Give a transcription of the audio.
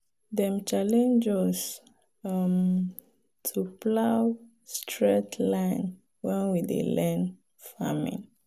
dem challenge us um to plow straight line when we dey learn farming.